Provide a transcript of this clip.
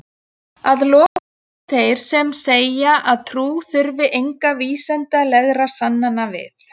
Að lokum eru þeir sem segja að trú þurfi engra vísindalegra sannana við.